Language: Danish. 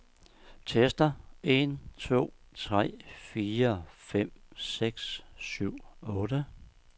Tester en to tre fire fem seks syv otte.